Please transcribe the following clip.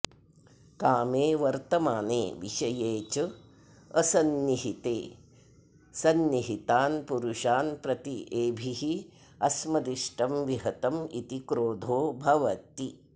कामे वर्तमाने विषये च असन्निहिते सन्निहितान् पुरुषान् प्रति एभिः अस्मदिष्टं विहतम् इति क्रोधो भवति